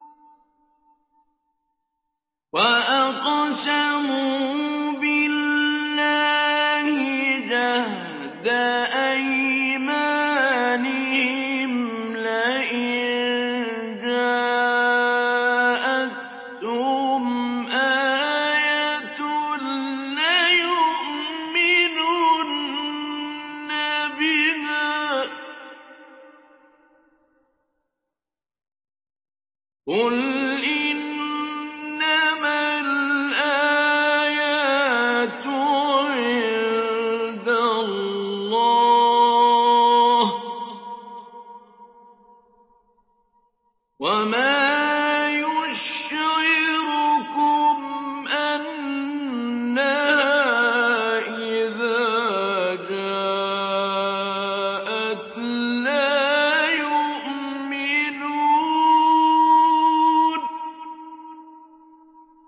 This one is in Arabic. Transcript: وَأَقْسَمُوا بِاللَّهِ جَهْدَ أَيْمَانِهِمْ لَئِن جَاءَتْهُمْ آيَةٌ لَّيُؤْمِنُنَّ بِهَا ۚ قُلْ إِنَّمَا الْآيَاتُ عِندَ اللَّهِ ۖ وَمَا يُشْعِرُكُمْ أَنَّهَا إِذَا جَاءَتْ لَا يُؤْمِنُونَ